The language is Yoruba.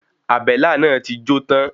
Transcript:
Àbélà náà ti jó tán.